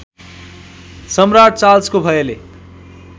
सम्राट् चार्ल्सको भयले